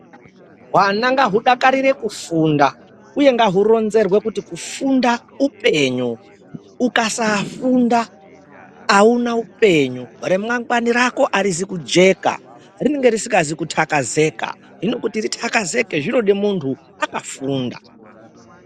Hwana ngahudakarire kufunda uye ngahuronzerwe kuti kufunda upenyu ukasafunda auna upenyu remangwani Rako arizi kujeka rinenge risikazi kutakazika hino kuti ritakazike renode muntu akafunda